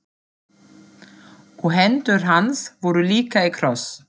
Og hendur hans voru líka í kross.